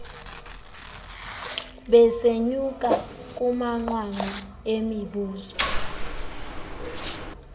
besenyuka kumanqwanqwa emivuzo